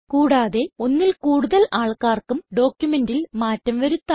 കൂടാതെ ഒന്നിൽ കൂടുതൽ ആൾക്കാർക്കും ഡോക്യുമെന്റിൽ മാറ്റം വരുത്താം